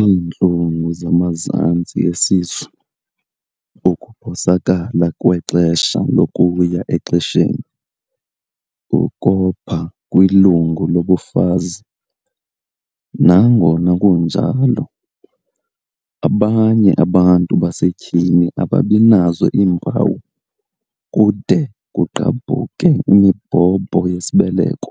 iintlungu zamazantsi esisu, ukuphosakala kwexesha lokuya exesheni, ukopha kwilungu lobufazi."Nangona kunjalo, abanye abantu basetyhini ababinazo iimpawu kude kugqabhuke imibhobho yesibeleko.